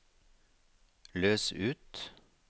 løs ut